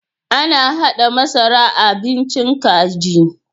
Ana haɗa masara a bincin kaji.